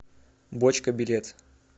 бочка билет